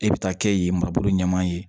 E bɛ taa kɛ yen mabolo ɲama ye